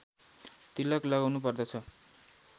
तिलक लगाउनु पर्दछ